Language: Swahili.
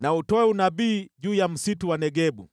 na utoe unabii juu ya msitu wa Negebu.